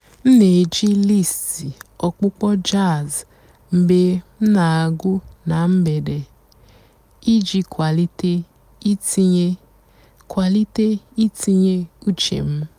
m nà-èjí lístì ọ̀kpụ́kpọ́ jàzz mg̀bé m nà-àgụ́ nà m̀gbèdé ìjì kwálìté ìtìnyé kwálìté ìtìnyé ùchè m.